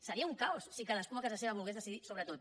seria un caos si cadascú a casa seva volgués decidir sobre tot